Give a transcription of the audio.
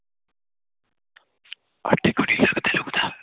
ਲਗਦੇ ਲੁਗਦਾ